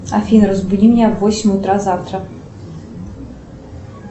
афина разбуди меня в восемь утра завтра